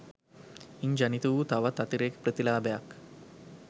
ඉන් ජනිත වූ තවත් අතිරේක ප්‍රතිලාභයක්